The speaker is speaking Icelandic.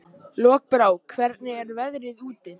Lokbrá, hvernig er veðrið úti?